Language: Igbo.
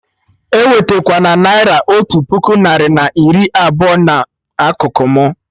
Ewetekwana naira otu puku narị na iri abụọ na akụkụ mụ!